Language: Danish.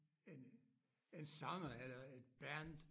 En en sanger eller et band